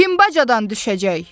Kim bacadan düşəcək?